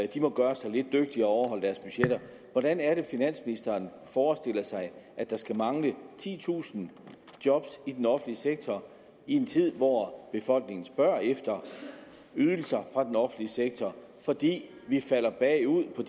de må gøre sig lidt dygtigere og overholde deres budgetter hvordan er det finansministeren forestiller sig at der skal mangle titusind job i den offentlige sektor i en tid hvor befolkningen spørger efter ydelser fra den offentlige sektor fordi vi falder bagud på